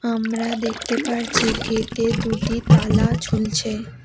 আমরা দেখতে পারছি গেটে দুটি তালা ঝুলছে।